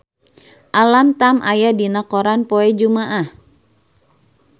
Alam Tam aya dina koran poe Jumaah